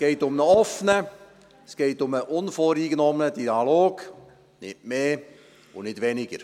Es geht um einen offenen, unvoreingenommenen Dialog, um nicht mehr und nicht um weniger.